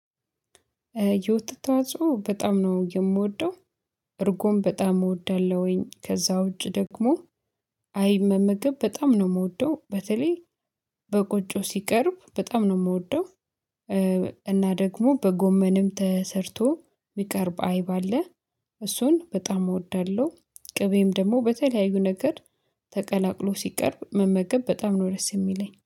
የውተት ተዋፅቸው በጣም ነው የምወደው። እርጎም በጣም እወዳለሁኝ ከዛ ውጪ ደግሞ። አይብ ምግብ በጣም ነው የምወደው በተለይ በቁጭው ሲቀርብ በጣም ነው የምወደው። እና ደግሞ በጎመንም ተሰርቶ የሚቀርብ አይብ አለ እሱን በጣም እወዳለሁ። ቅቤም ደግሞ በተለያዩ ነገር ተቀላቅሎ ሲቀርብ መመገብ በጣም ነው ደስ የሚለኝ